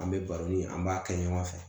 An bɛ baro ni an b'a kɛ ɲɔgɔn fɛ